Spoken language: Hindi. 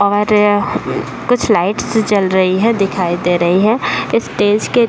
और कुछ लाइटस जल रही है दिखाई दे रही है। इस स्टेज के --